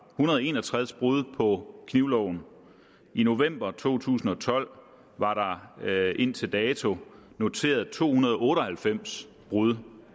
hundrede og en og tres brud på knivloven og i november to tusind og tolv var der indtil dato noteret to hundrede og otte og halvfems brud